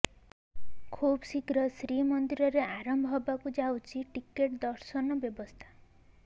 ଖୁବ୍ଶୀଘ୍ର ଶ୍ରୀମନ୍ଦିରରେ ଆରମ୍ଭ ହେବାକୁ ଯାଉଛି ଟିକେଟ ଦର୍ଶନ ବ୍ୟବସ୍ଥା